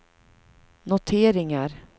noteringar